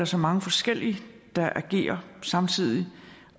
så mange forskellige der agerer samtidig